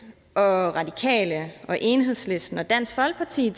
og radikale og enhedslisten og dansk folkeparti